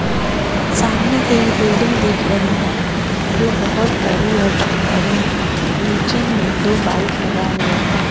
सामने एक बिल्डिंग दिख रही हैं जो बहोत बड़ी और सुंदर है नीचे में दो बाइक लगा हुआ है।